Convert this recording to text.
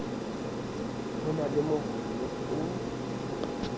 o na le mohono o